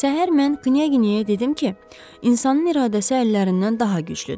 Səhər mən Knyaginyaya dedim ki, insanın iradəsi əllərindən daha güclüdür.